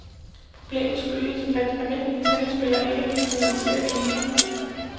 Problemet skyldes, at almindelige tennisspillere ikke vil finansiere eliten.